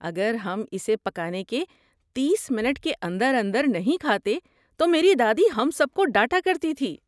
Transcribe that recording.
اگر ہم اسے پکانے کے تیس منٹ کے اندر اندر نہیں کھاتے تو میری دادی ہم سب کو ڈانٹا کرتی تھی